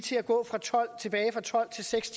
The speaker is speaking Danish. seks